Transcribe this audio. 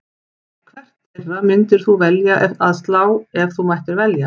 Hvert þeirra myndir þú velja að slá ef þú mættir velja?